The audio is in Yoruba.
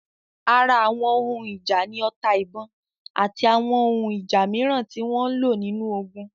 Ara Àwọn ohun ìjà ni ota-ìbọn, àti àwọn ohun ìjà mìíràn tí wọ́n lò nínú ogun.